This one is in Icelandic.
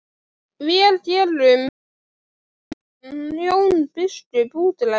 Vér gerum nefndan Jón biskup útlægan!